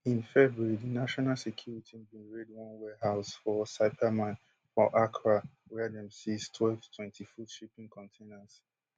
in february di national security bin raid one warehouse for sapeiman for accra wia dem seize twelve twentyfoot shipping containers